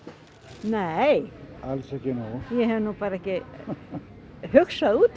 nei alls ekki nóg ég hef nú ekki hugsað út